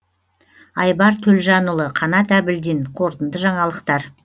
айбар төлжанұлы қанат әбілдин қорытынды жаңалықтар